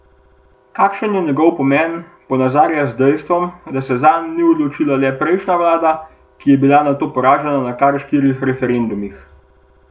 Kakšen je njegov pomen, ponazarja z dejstvom, da se zanj ni odločila le prejšnja vlada, ki je bila nato poražena na kar štirih referendumih.